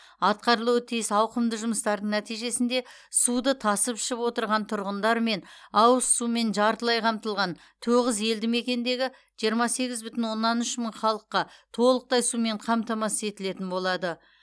атқарылуы тиіс ауқымды жұмыстардың нәтижесінде суды тасып ішіп отырған тұрғындар мен ауызсумен жартылай қамтылған тоғыз елді мекендегі жиырма сегіз бүтін оннан үш мың халыққа толықтай сумен қамтамасыз етілетін болады